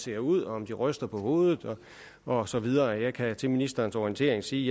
ser ud om de ryster på hovedet og så videre jeg kan til ministerens orientering sige